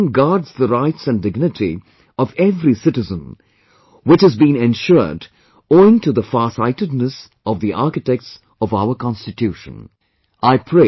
Our constitution guards the rights and dignity of every citizen which has been ensured owing to the farsightedness of the architects of our constitution